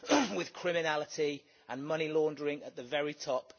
with criminality and money laundering at the very top.